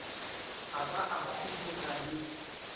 a ba a huduga le